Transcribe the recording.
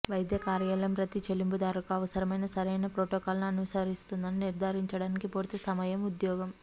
వైద్య కార్యాలయం ప్రతి చెల్లింపుదారుకు అవసరమైన సరైన ప్రోటోకాల్ను అనుసరిస్తుందని నిర్ధారించడానికి పూర్తి సమయం ఉద్యోగం